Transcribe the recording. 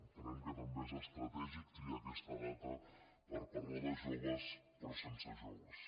entenem que també és estratègic triar aquesta data per parlar de joves però sense joves